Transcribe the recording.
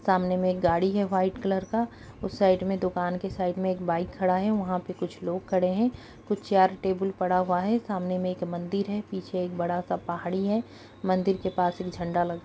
सामने में एक गाड़ी हैं व्हाइट कलर का उस साइड में दुकान के साइड में एक बाइक खड़ा हैं वहाँ पर कुछ लोग खड़ें हैं कुछ चैयर टेबल पड़ा हुआ हैं सामने में एक मंदिर हैं पीछे एक बड़ा सा पहाड़ी है मंदिर के पास मे एक झंडा लगा--